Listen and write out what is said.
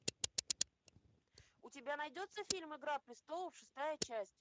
у тебя найдется фильм игра престолов шестая часть